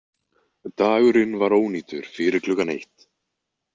Dagurinn var ónýtur fyrir klukkan eitt.